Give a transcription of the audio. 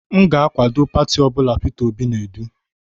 M ga-akwado pati ọ bụla Peter Obi na-edu.